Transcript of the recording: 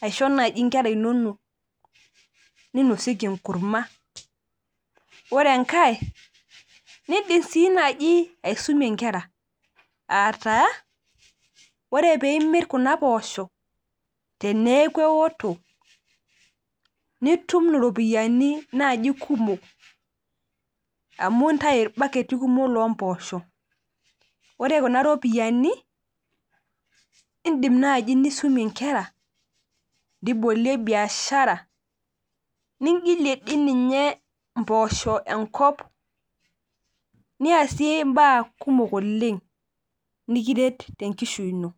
Aisho naji nkera inonok. Ninosieki enkurma. Ore enkae, nidim di naji aisumie nkera. Ataa, ore pimir kuna poosho teneeku eoto, nitum iropiyiani naji kumok. Amu intayu irbaketi kumok lompoosho. Ore kuna ropiyiani, idim naji nisumie nkera, nibolie biashara, nigilie dininye mpoosho enkop. Niasie baa kumok oleng nikiret tenkishui ino.